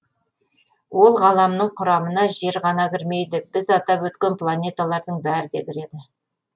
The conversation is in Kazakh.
ол ғаламның құрамына жер ғана кірмейді біз атап өткен планеталардың бәрі де кіреді